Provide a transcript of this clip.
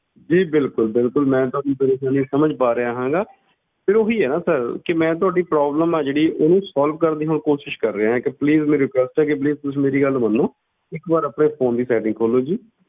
ਜੀ ਬਿਲਕੁਲ ਬਿਲਕੁਲ ਮੈਂ ਤੁਹਾਡੀ ਪਰੇਸਾਨੀ ਸਮਝ ਪਾ ਰਿਹਾ ਹੈਗਾ, ਫਿਰ ਉਹੀ ਹੈਨਾ sir ਕਿ ਮੈਂ ਤੁਹਾਡੀ problem ਆ ਜਿਹੜੀ ਉਹਨੂੰ solve ਕਰਨ ਦੀ ਹੁਣ ਕੋਸ਼ਿਸ਼ ਕਰ ਰਿਹਾਂ ਹੈ ਕਿ please ਮੇਰੀ request ਹੈ ਕਿ please ਤੁਸੀਂ ਮੇਰੀ ਗੱਲ ਮੰਨੋ ਇੱਕ ਵਾਰ ਆਪਣੇ phone ਦੀ setting ਖੋਲੋ ਜੀ।